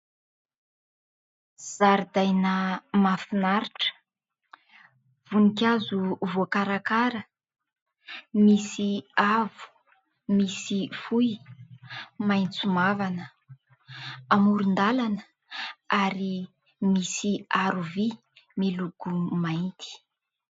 Zaridaina mahafinaritra, voninkazo voakarakara, misy avo misy fohy, maitso mavana. Amoron-dalana ary misy aro vy miloko mainty.